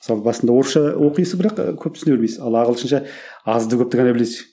мысалы басында орысша оқисың бірақ көп түсіне бермейсің ал ағылшынша азды көпті ғана білесің